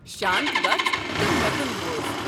شانت گژھ تہٕ مےٚ كُن بوز۔